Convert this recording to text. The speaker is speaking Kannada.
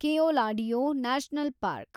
Keoladeo national park